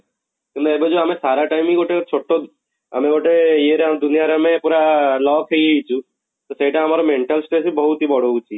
କିନ୍ତୁ ଏବେ ଯଉ ଆମେ ସାରା time ଗୋଟେ ଛୋଟ ଆମେ ଗୋଟେ ଇଏ ରେ ଦୁନିଆରେ ଆମେ ପୁରା lock ହେଇଯାଇଛୁ, ସେଇଟା ଆମର mental stress ବି ବହୁତ ହି ବଢଉଛି